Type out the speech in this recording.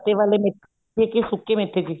ਸੁੱਕੇ ਵਾਲੇ ਮੇਥੇ ਵਿੱਚ ਹੀ ਸੁੱਕੇ ਮੇਥੇ ਚ ਈ